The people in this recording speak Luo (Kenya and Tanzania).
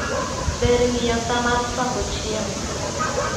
Ber ng'iyo saa mar chwako chiemo